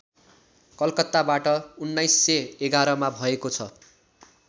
कलकत्ताबाट १९११ मा भएको छ